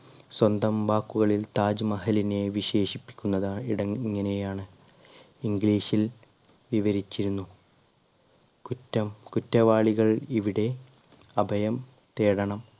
സ്വന്തം വാക്കുകളിൽ താജ്മഹലിനെ വിശേഷിപ്പിക്കുന്നത് ഇട ഇങ്ങനെയാണ് english ൽ വിവരിച്ചിരുന്നു കുറ്റം കുറ്റവാളികൾ ഇവിടെ അഭയം തേടണം.